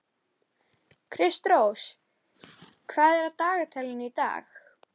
Kristrós, hvað er á dagatalinu í dag?